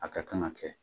A ka kan ka kɛ